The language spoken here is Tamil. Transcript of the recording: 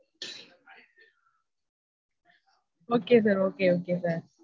Okay sir. Okay, okay sir.